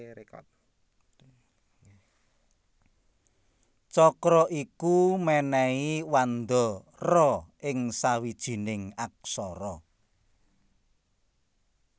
Cakra iku mènèhi wanda ra ing sawijining aksara